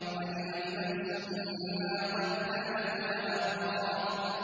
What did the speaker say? عَلِمَتْ نَفْسٌ مَّا قَدَّمَتْ وَأَخَّرَتْ